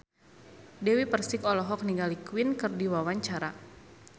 Dewi Persik olohok ningali Queen keur diwawancara